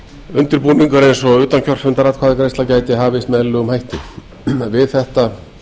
undirbúningur eins og utankjörfundaratkvæðagreiðsla gæti hafist með eðlilegum hætti við þetta